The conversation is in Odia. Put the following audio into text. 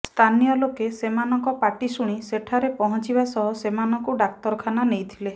ସ୍ଥାନୀୟ ଲୋକେ ସେମାନଙ୍କ ପାଟି ଶୁଣି ସେଠାରେ ପହଁଚିବା ସହ ସେମାନଙ୍କୁ ଡାକ୍ତରଖାନା ନେଇଥିଲେ